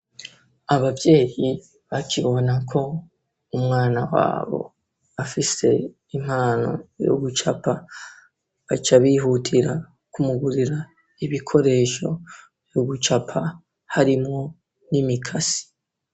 Abavyeyi bakibona ko umwana wabo afise impano yo gucapa baca bihutira kumugurira ibikoresho yuugucapa harimwo n'imikasi.